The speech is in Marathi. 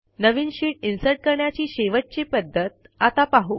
नवीन शीट इन्सर्ट करण्याची शेवटची पध्दत आता पाहू